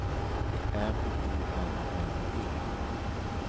M I N N E